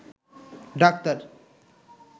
doctor